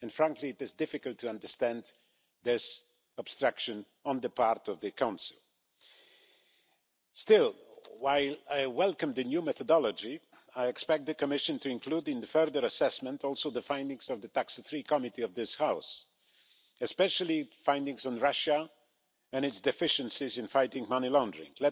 Frankly, it is difficult to understand this obstruction on the part of the Council. Still, while I welcome the new methodology, I expect the Commission to include in the further assessment the findings of the TAX3 Committee of this House, especially findings on Russia and its deficiencies in fighting money laundering.